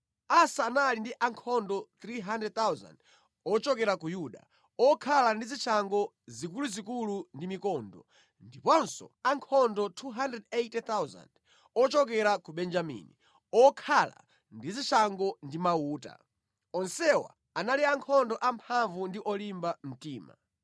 Asa anali ndi ankhondo 300,000 ochokera ku Yuda, okhala ndi zishango zikuluzikulu ndi mikondo, ndiponso ankhondo 280,000 ochokera ku Benjamini, okhala ndi zishango ndi mauta. Onsewa anali ankhondo amphamvu ndi olimba mtima.